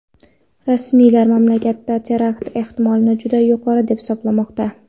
Rasmiylar mamlakatda terakt ehtimolini juda yuqori deb hisoblamoqda.